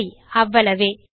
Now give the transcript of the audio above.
சரி அவ்வளவே